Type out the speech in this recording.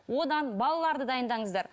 одан балаларды дайындаңыздар